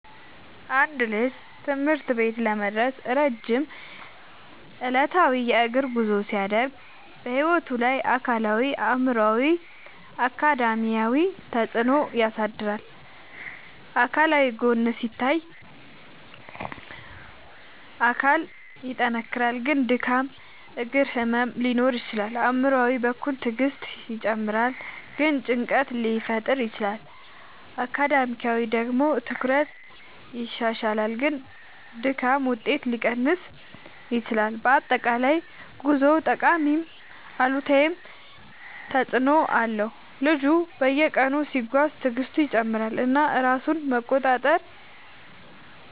አንድ ልጅ ትምህርት ቤት ለመድረስ ረጅም ዕለታዊ የእግር ጉዞ ሲያደርግ በሕይወቱ ላይ አካላዊ አእምሯዊ እና አካዳሚያዊ ተፅዕኖ ያሳድራል። አካላዊ ጎን ሲታይ አካል ይጠናከራል ግን ድካም እግር ህመም ሊኖር ይችላል። አእምሯዊ በኩል ትዕግስት ይጨምራል ግን ጭንቀት ሊፈጠር ይችላል። አካዳሚያዊ ደግሞ ትኩረት ይሻሻላል ግን ድካም ውጤት ሊቀንስ ይችላል። በአጠቃላይ ጉዞው ጠቃሚም አሉታዊም ተፅዕኖ አለው። ልጁ በየቀኑ ሲጓዝ ትዕግስቱ ይጨምራል እና ራሱን መቆጣጠር